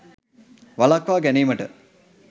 වළක්වා ගැනීමට